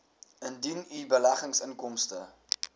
indien u beleggingsinkomste